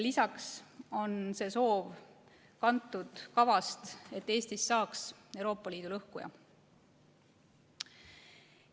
Lisaks on see soov kantud kavast, et Eestist saaks Euroopa Liidu lõhkuja.